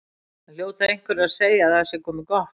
Það hljóta einhverjir að segja að það sé komið gott.